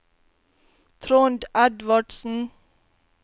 Trond Edvardsen